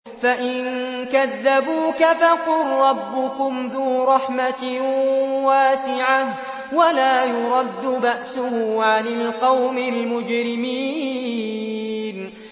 فَإِن كَذَّبُوكَ فَقُل رَّبُّكُمْ ذُو رَحْمَةٍ وَاسِعَةٍ وَلَا يُرَدُّ بَأْسُهُ عَنِ الْقَوْمِ الْمُجْرِمِينَ